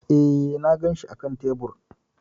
E, na ganshi a kan tebur.